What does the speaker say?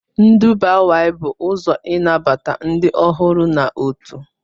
Nduba y bụ ụzọ ịnabata ndị ọhụrụ na otu